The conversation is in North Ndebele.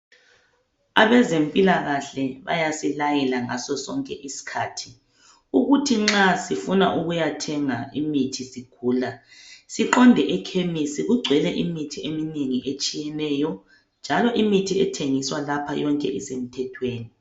Abezempilakahle bayasilayela ngasosonke isikhathi. Ukuthi nxa sifuna ukuyathenga imithi sigula, siqonde ekhemesi kugcwele imithi eminengi etshiyeneyo njalo imithi ethengiswa lapha yonke isemthethweni.